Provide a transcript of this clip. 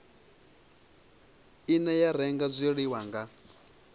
ine ya renga zwiḽiwa nga